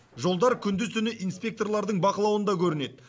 жолдар күндіз түні инспекторлардың бақылауында көрінеді